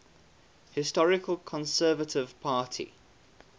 historical conservative party